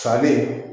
Salen